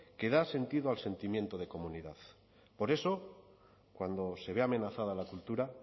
que da sentido al sentimiento de comunidad por eso cuando se ve amenazada la cultura